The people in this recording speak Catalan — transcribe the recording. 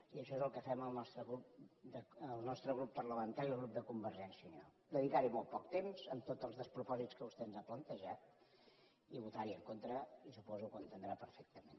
i això és el que fem el nostre grup parlamentari el grup de convergència i unió dedicar hi molt poc temps amb tots els despropòsits que vostè ens ha plantejat i votar hi en contra i suposo que ho entendrà perfectament